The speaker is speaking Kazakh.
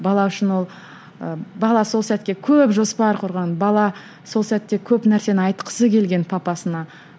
бала үшін ол ы бала сол сәтке көп жоспар құрған бала сол сәтте көп нәрсені айтқысы келген папасына